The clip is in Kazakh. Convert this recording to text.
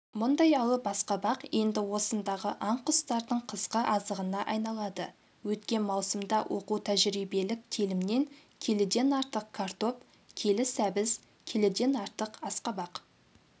мұндай алып асқабақ енді осындағы аң-құстардың қысқы азығына айналады өткен маусымда оқу-тәжірибелік телімнен келіден артық картоп келі сәбіз келіден артық асқабақ